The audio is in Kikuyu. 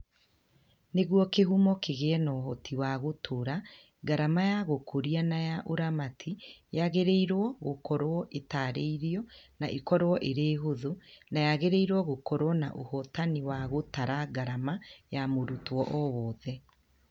Nĩguo kĩhumo kĩgĩe na ũhoti wa gũtũũra, ngarama ya gũkũria na ya ũramati yagĩrĩirũo gũkorũo ĩtaarĩirio na ĩkorũo ĩrĩ hũthũ, na yagĩrĩirũo gũkorũo na ũhotani wa gũtara ngarama ya mũrutwo o wothe.